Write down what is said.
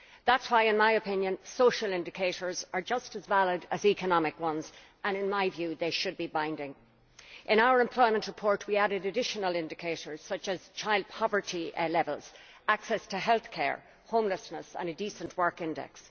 That is why, in my opinion, social indicators are just as valid as economic ones and in my view they should be binding. In our employment report we added additional indicators such as child poverty levels, access to health care, homelessness and a decent work index.